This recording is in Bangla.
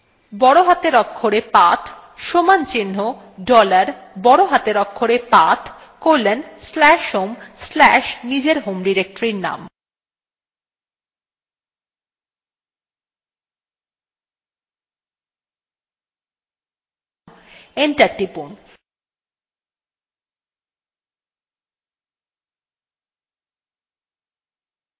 বড় হাতের অক্ষরে path সমান চিন্হ dollar বড় হাতের অক্ষরে path colon slash home slash নিজের home ডিরেক্টরীর name enter টিপুন